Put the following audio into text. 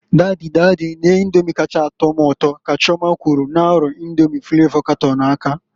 "Dady, dady, nee Indomi kacha a tọ m ụtọ", ka Chioma kwulu n'arụ Indomi flavo katọn aka.